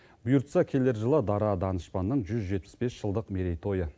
бұйыртса келер жылы дара данышпанның жүз жетпіс бес жылдық мерейтойы